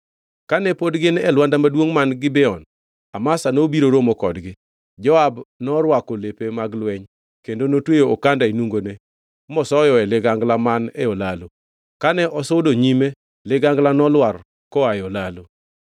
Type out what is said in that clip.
Kane pod gin e lwanda maduongʼ man Gibeon, Amasa nobiro romo kodgi. Joab norwako lepe mag lweny kendo notweyo okanda e nungone mosoyoe ligangla man e olalo. Kane osudo nyime, ligangla nolwar koa e olalo.